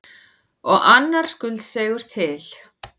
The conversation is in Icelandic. Og annar skuldseigur til.